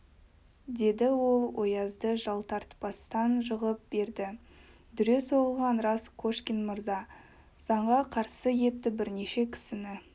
деді ол оязды жалтартпастан жығып берді дүре соғылғаны рас кошкин мырза заңға қарсы етті бірнеше кісіні